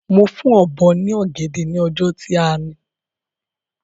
Mo fún Ọ̀bọ́ ní ọ̀gẹ̀dẹ̀ ni ọjọ́ tí a ni